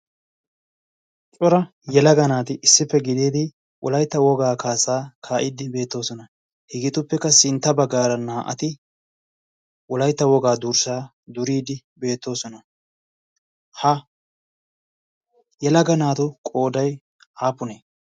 Cora yelaga naati issippe gididi Wolaytta woga kaassa kaa'ide beettoosona. Hegetuppeka sintta baggaara naa''ati Wolaytta wogaa durssaa duride beettooson. Ha yelaga naatu qooday aappune?